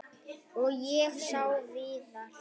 Og ég sá Viðar.